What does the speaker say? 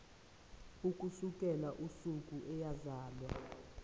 ukusukela usuku eyazalwa